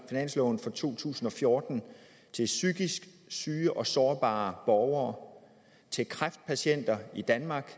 finansloven for to tusind og fjorten til psykisk syge og sårbare borgere til kræftpatienter i danmark